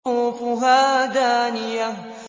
قُطُوفُهَا دَانِيَةٌ